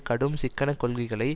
கடும் சிக்கனக் கொள்கைகளை